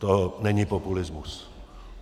To není populismus.